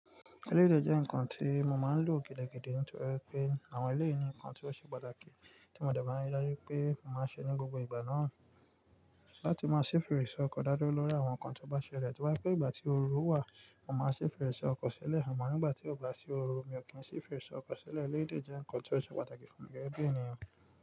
Eleyii dẹ̀ jẹ́ ǹkan tí mo máa ń lò gidigidi nítorí pé àwọn eléyìí ni ǹkan tí ó ṣe pàtàkì tí mo dẹ̀ bá rí dájú pé mo máa ń ṣe ní gbogbo ìgbà náà láti máa ṣe fèrèsé ọkọ dá dúró lọ́ri àwọn ǹkan tó bá ṣẹlẹ̀. Tó bá jẹ́ pé ìgbà tí oru wà, mo máa ṣe fèrèsé ọkọ ṣẹlẹ̀ àmọ́ nígbà tí kò bá sí oru, mi ò kí ń ṣe fèrèsé ọkọ ṣẹlẹ̀. Eléyìí dé jẹ́ ǹkan tí ó ṣe pàtàkì fún mi gẹ́gẹ́ bi ènìyàn.